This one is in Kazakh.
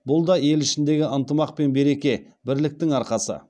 бұл да ел ішіндегі ынтымақ пен береке бірліктің арқасы